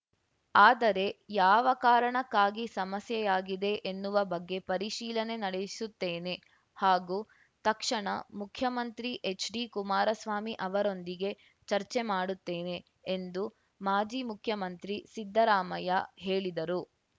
ಆದರೆ ಯಾವ ಕಾರಣಕ್ಕಾಗಿ ಸಮಸ್ಯೆಯಾಗಿದೆ ಎನ್ನುವ ಬಗ್ಗೆ ಪರಿಶೀಲನೆ ನಡೆಸುತ್ತೇನೆ ಹಾಗೂ ತಕ್ಷಣ ಮುಖ್ಯಮಂತ್ರಿ ಎಚ್‌ಡಿ ಕುಮಾರಸ್ವಾಮಿ ಅವರೊಂದಿಗೆ ಚರ್ಚೆ ಮಾಡುತ್ತೇನೆ ಎಂದು ಮಾಜಿ ಮುಖ್ಯಮಂತ್ರಿ ಸಿದ್ದರಾಮಯ್ಯ ಹೇಳಿದರು